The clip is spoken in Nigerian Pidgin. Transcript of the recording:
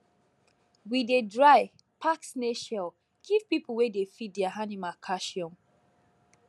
we dey dry pack snail shell give people wey dey feed their animal calcium